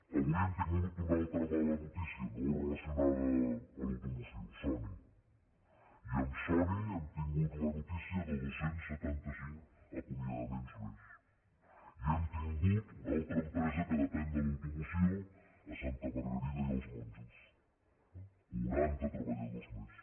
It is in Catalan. avui hem tingut una altra mala notícia no relacionada amb l’automoció sony i amb sony hem tingut la notícia de dos cents i setanta cinc acomiadaments més i hem tingut una altra empresa que depèn de l’automoció a santa margarida i els monjos quaranta treballadors més